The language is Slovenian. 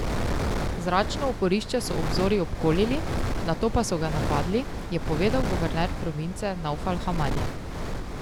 Zračno oporišče so ob zori obkolili, nato pa so ga napadli, je povedal guverner province Navfal Hamadi.